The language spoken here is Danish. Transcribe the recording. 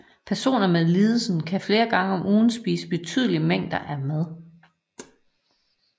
Personer med lidelsen kan flere gange om ugen spise betydelige mængder af mad